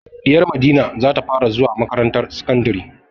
Ɗiyar Madina za ta fara zuwa makarantar sakandari.